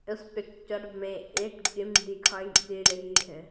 इस पिक्चर में एक जिम दिखाई दे रही है।